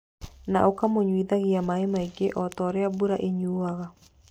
Na ũkamũnyuithagia maaĩ maingĩ o ta ũrĩa mbura ĩnyuuaga.